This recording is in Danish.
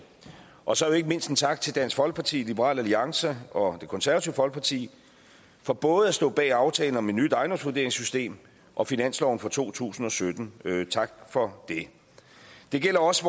og så er ikke mindst en tak til dansk folkeparti liberal alliance og det konservative folkeparti for både at stå bag aftalen om et nyt ejendomsvurderingssystem og finansloven for to tusind og sytten tak for det det gælder også